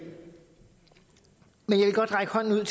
godt række hånden ud